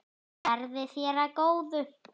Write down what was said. Verði þér að góðu.